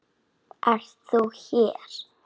Ert þú hér!